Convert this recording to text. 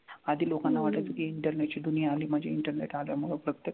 आधी लोकांना वाटायचं की internet ची दुनिया आली म्हनजे internet मग प्रत्येक